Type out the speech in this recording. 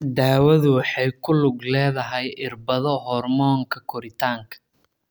Daawadu waxay ku lug leedahay irbado hormoonka koritaanka.